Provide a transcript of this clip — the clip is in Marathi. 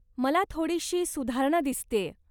मला थोडीशी सुधारणा दिसतेय.